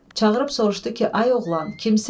Çağırıb soruşdu ki, ay oğlan, kimsən?